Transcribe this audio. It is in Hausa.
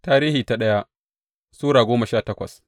daya Tarihi Sura goma sha takwas